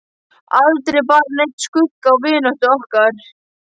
Aldrei bar neinn skugga á vináttu okkar.